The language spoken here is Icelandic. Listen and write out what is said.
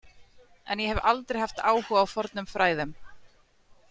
En ég hef aldrei haft áhuga á fornum fræðum.